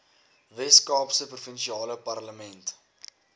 weskaapse provinsiale parlement